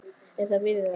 Er það viðunandi?